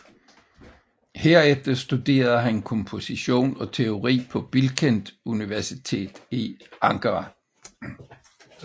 Herefter studerede han komposition og teori på Bilkent Universitet i Ankara